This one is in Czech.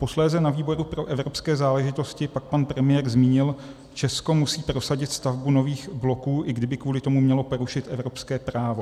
Posléze na výboru pro evropské záležitosti pak pan premiér zmínil: Česko musí prosadit stavbu nových bloků, i kdyby kvůli tomu mělo porušit evropské právo.